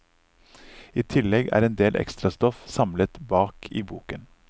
I tillegg er endel ekstrastoff samlet bak i boken.